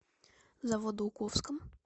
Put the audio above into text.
заводоуковском